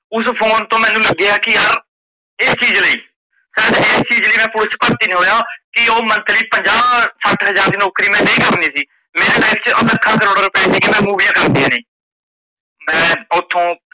ਉਸ phone ਤੋਂ ਮੈਂਨੂੰ ਲੱਗਿਆ ਕੀ ਯਾਰ ਇਸ ਚੀਜ ਸ਼ਾਇਦ ਇਸ ਚੀਜ ਲਈ ਮੈ police ਚ ਭਰਤੀ ਨਹੀਂ ਹੋਇਆ ਕੀ ਓਹ monthly ਪੰਜਾਹ ਸੱਠ ਹਜ਼ਾਰ ਦੀ ਨੋਕਰੀ ਮੈ ਨਹੀਂ ਕਰਨੀ ਸੀ। ਮੇਰੀ life ਆ ਲੱਖਾਂ ਕਰੋੜਾਂ ਰੁਪਏ ਸੀ ਕੀ ਮੈ ਮਓਵੀਆ ਕਰਨੀਆ ਨੇ ਮੈ ਓਥੋਂ